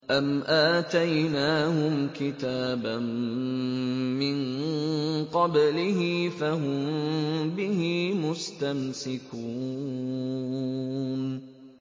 أَمْ آتَيْنَاهُمْ كِتَابًا مِّن قَبْلِهِ فَهُم بِهِ مُسْتَمْسِكُونَ